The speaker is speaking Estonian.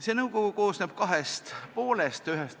See nõukogu koosneb kahest poolest.